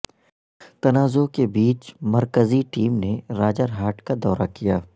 تنازعہ کے بیچ مرکزی ٹیم نے راجرہاٹ کادورہ کیا